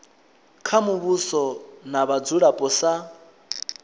kha muvhuso na vhadzulapo sa